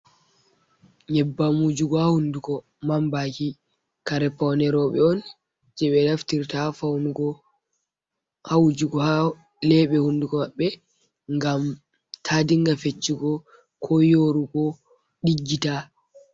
"Nyeɓɓam" wujugo ha hunduko mamɓaki kare pawne roɓe on je ɓe naftirta ha wujugo lebe hunduko maɓɓe ngam ta dinga feccugo ko yorugo ɗiggita.